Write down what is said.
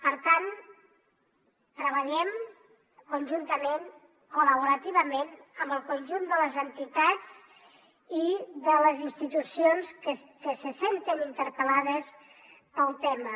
per tant treballem conjuntament col·laborativament amb el conjunt de les entitats i de les institucions que se senten interpel·lades pel tema